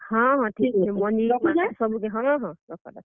ହଁ ହଁ, ଠିକ୍ ଅଛେ ।